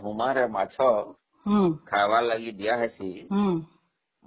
ହୁମାରେ ମାଛ ଖାଇବାକୁ ଦିଆ ହଉଛି ହଁ